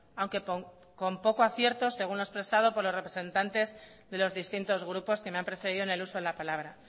aunque con poco acierto según lo expresado por los representantes de los distintos grupos que me han precedido en el uso de la palabra